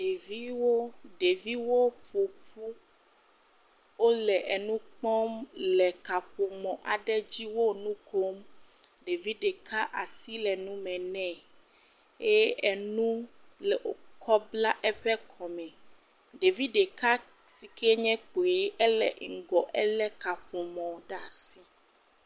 Ɖeviwo, ɖeviwo ƒoƒu wole enukpɔm le kaƒomɔ aɖe dzi wo nu kom, ɖevi ɖeka asi le nu me nɛ eye enu le wokɔ bla eƒe kɔme. ɖevi ɖeka si ke le kpui elé ŋgɔ elé kaƒomɔ ɖe asi